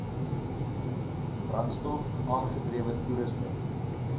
brandstof aangedrewe toerusting